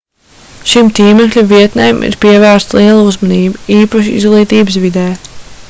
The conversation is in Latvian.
šīm tīmekļa vietnēm ir pievērsta liela uzmanība īpaši izglītības vidē